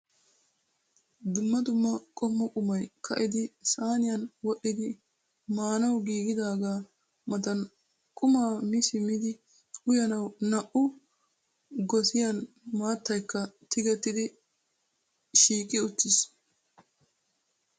Dumma dumma qommo qumay ka'idi sayniyan wodhdhidi maanawu giigidaagaa matan qumaa miidi simmidi uyanawu naa"u gosiyan maattaykka tigettidi shiiqi uttiis.